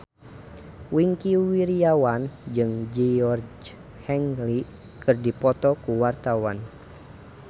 Wingky Wiryawan jeung Georgie Henley keur dipoto ku wartawan